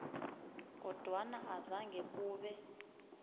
kodwana azange kube